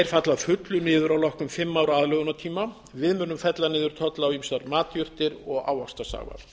falla að fullu niður að loknum fimm ára aðlögunartíma við munum fella niður tolla á ýmsar matjurtir og ávaxtasafa